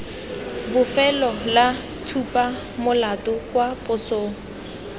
bofelo la tshupamolato kwa posong